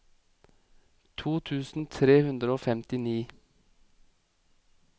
to tusen tre hundre og femtini